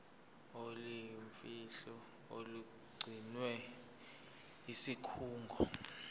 oluyimfihlo olugcinwe yisikhungo